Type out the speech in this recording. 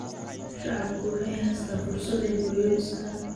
Shacabku waxay haystaan ??fursad ay guryo dhistaan.